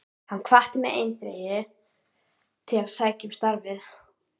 Hann hvatti mig eindregið til að sækja um starfið.